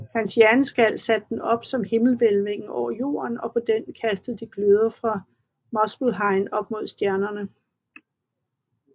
Hans hjerneskal satte de op som himmelhvælvingen over jorden og på denne kastede de gløder fra Muspelheim op som stjernerne